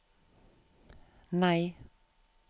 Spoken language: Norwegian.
nei